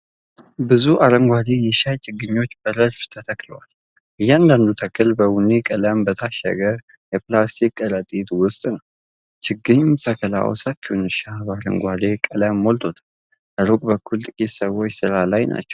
ብዙ የአረንጓዴ የሻይ ችግኞች በረድፍ ተተክለዋል። እያንዳንዱ ተክል በቡኒ ቀለም በታሸገ የፕላስቲክ ከረጢት ውስጥ ነው። የችግኝ ተከላው ሰፊውን እርሻ በአረንጓዴ ቀለም ሞልቶታል። ሩቅ በኩል ጥቂት ሰዎች ስራ ላይ ናቸው።